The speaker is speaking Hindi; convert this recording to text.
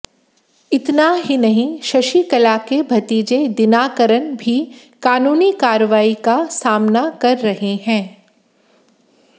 इतना ही नहीं शशिकला के भतीजे दिनाकरन भी कानूनी कार्रवाई का सामना कर रहे हैं